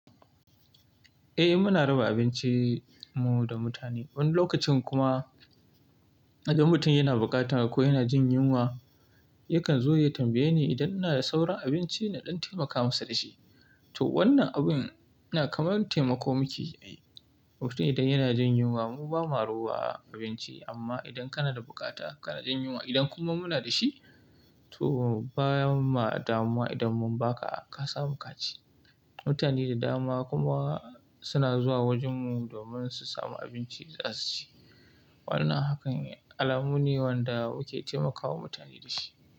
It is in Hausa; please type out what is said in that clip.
Eh muna raba abincin mu da mutane. Wani lokacin kuma idan mutum yana bukata ko yana jin yunwa, yakan zo ya tambaye ni idan ina da sauran abinci na ɗan taimaka masa da shi. To wannan abin yana kamar taimako muke yi. Mutum idan yana jin yunwa mu ba ma rowa abinci amma idan kana da bukata kana jin yunwa idan kuma muna da shi, to baya ma damuwa idan mun ba ka ka samu ka ci. Mutane da dama kuma suna zuwa wajen mu domin su samu abinci za su ci. Wannan hakan alamu ne wanda muke taimakawa mutane da shi.